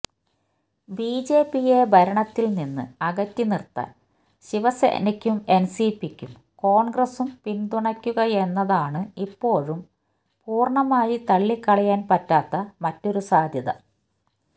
ബിജെപിയെ ഭരണത്തില്നിന്ന് അകറ്റി നിര്ത്താന് ശിവസേനയ്ക്ക് എൻസിപിയും കോണ്ഗ്രസും പിന്തുണയ്ക്കുകയെന്നതാണ് ഇപ്പോഴും പൂര്ണമായി തള്ളി കളയാന് പറ്റാത്ത മറ്റൊരു സാധ്യത